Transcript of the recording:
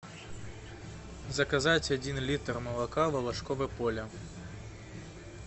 заказать один литр молока волошкове поле